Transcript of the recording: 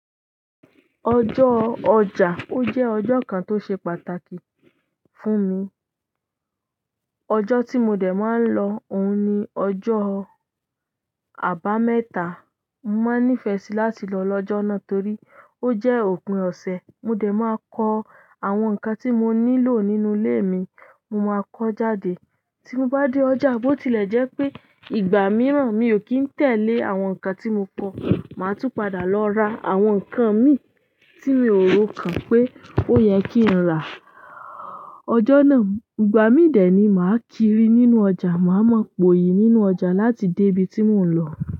Ọjọ́ ọjà, ó jẹ́ ọjọ́ kan tó ṣe pàtàkì fún mi. Ọjọ́ tí mo dẹ̀ máa ń lọ òun ni ọjọ́ àbámẹ́ta. Mo máa ń nífẹ̀ẹ́ sí láti lọ lọ́jọ́ náà torí ó jẹ́ òpin ọ̀sẹ̀. Mo dẹ̀ máa kọ àwọn nǹkan tí mo nílò nínú ilé mi. Mo máa kọ jáde. Tí mo bá dé ọjà, bó tilẹ̀ jẹ́ pé ìgbà mìíràn mi ò kí ń tẹ̀lé àwọn nǹkan tí mo kọ, màá tún padà lọ ra àwọn nǹkan mi tí mi ò ro kàn pé ó yẹ kí n rà. Ọjọ́ náà, ìgbà mí dẹ̀ ni màá kiri nínú ọjà. Ma ma poyi nínú ọjà láti debi ti mo n lo.